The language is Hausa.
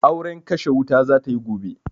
Auren kashe wuta za ta yi gobe.